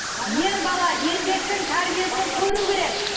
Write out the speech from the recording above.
ер бала еркектің тәрбиесін көру керек